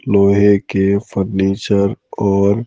लोहे के फर्नीचर और --